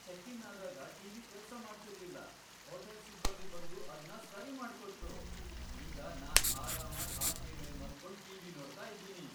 Check in ಆದಾಗ T V ಕೆಲ್ಸ ಮಾಡ್ತಿರ್ಲಿಲ್ಲ, ಹೋಟೆಲ್ ಸಿಬ್ಬಂದಿ ಬಂದು ಅದ್ನ ಸರಿ ಮಾಡ್ಕೊಟ್ರು. ಈಗ ನಾನ್ ಆರಾಮಾಗ್ ಹಾಸ್ಗೆ ಮೇಲ್ ಮಲ್ಕೊಂಡು ಟಿ ವಿ ನೋಡ್ತಾ ಇದೀನಿ.